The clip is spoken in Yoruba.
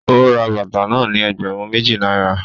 O rà bàtà náà ní ẹgbẹrun méjì náírà